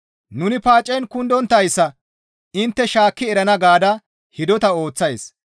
Nuni paacen kundonttayssa intte shaakki erana gaada hidota ooththays.